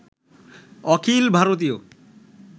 অখিল ভারতীয়